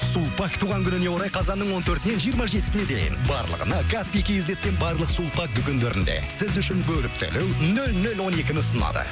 сулпак туған күніне орай қазанның он төртінен жиырма жетісіне дейін барлығына каспий кейзеттен барлық сулпак дүкендерінде сіз үшін бөліп төлеу нөл нөл он екіні ұсынады